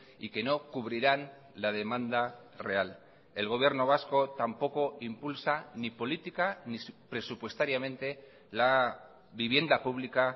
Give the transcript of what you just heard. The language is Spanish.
y que no cubrirán la demanda real el gobierno vasco tampoco impulsa ni política ni presupuestariamente la vivienda pública